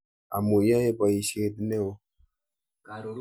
Amu yaei poisyet ne oo.